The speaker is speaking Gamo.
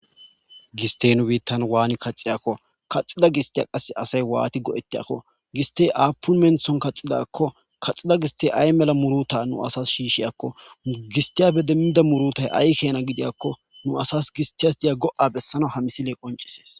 Gistey nu biittan waani kaxiyakko kaxida gistiya qase asay waati go'ettiakko gistey aapun menthon kaxidakko kaxxida gistey ay mela muruta nu asas shiishi akko ugistiyafe demmida murutay ay keena gidiyakko nu asas gistiyas diya go'a bessana ha misile qoncisees